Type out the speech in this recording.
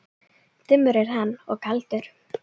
Dimmur er hann og kaldur.